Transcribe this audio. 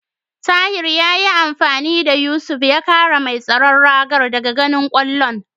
Tahir yayi amfani da Yusuf ya kare mai tsaron ragar daga ganin kwallon.